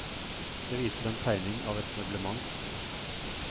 Det viser en tegning av et møblement.